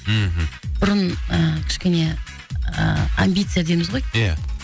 мхм бұрын ы кішкене ы амбиция дейміз ғой ия